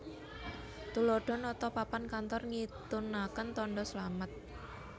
Tuladha nata papan kantor ngintunaken tandha slamet